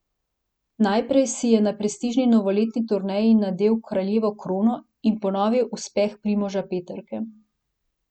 Najprej si je na prestižni novoletni turneji nadel kraljevo krono in ponovil uspeh Primoža Peterke.